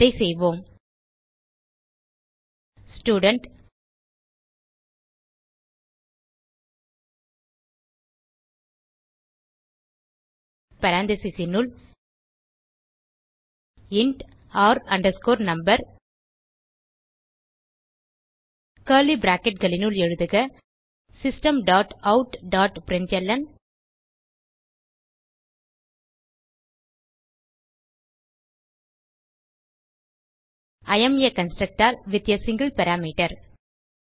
அதை செய்வோம் ஸ்டூடென்ட் paranthesisனுள் இன்ட் r no கர்லி bracketகளினுள் எழுதுக system dot out dot println I am a constructor with a single parameter